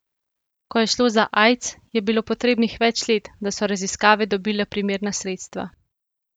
Ko je šlo za aids, je bilo potrebnih več let, da so raziskave dobile primerna sredstva.